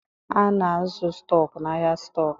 A na-azụ stọk n'ahịa stọk